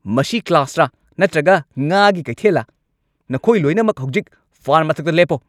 ꯃꯁꯤ ꯀ꯭ꯂꯥꯁꯔ ꯅꯠꯇ꯭ꯔꯒ ꯉꯥꯒꯤ ꯀꯩꯊꯦꯜꯂ? ꯅꯈꯣꯏ ꯂꯣꯏꯅꯃꯛ ꯍꯧꯖꯤꯛ ꯐꯥꯟ ꯃꯊꯛꯇ ꯂꯦꯞꯄꯣ!